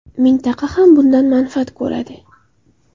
Mintaqa ham bundan manfaat ko‘radi.